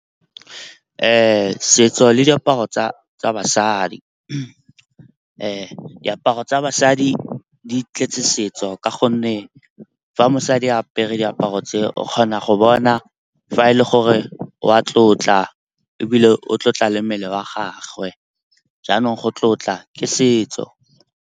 Setso le diaparo tsa basadi. Diaparo tsa basadi di tletse setso ka gonne fa mosadi apere diaparo tse, o kgona go bona fa e le gore wa tlotla ebile o tlotla le mmele wa gagwe. Jaanong go tlotla ke setso.